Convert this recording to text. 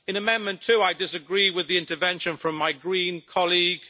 In Amendment 2, I disagree with the intervention from my Green colleague.